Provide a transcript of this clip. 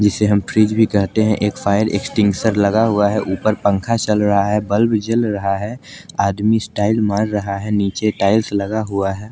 जीसे हम फ्रिज भी कहते हैं एक फायर एक्सटेंगुशर लगा हुआ है ऊपर पंखा चल रहा है बल्ब जल रहा है आदमी स्टाइल मार रहा है नीचे टाइल्स लगा हुआ है।